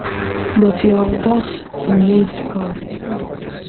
but you um gatz remain calm im tok